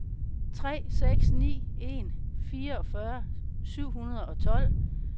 tre seks ni en fireogfyrre syv hundrede og tolv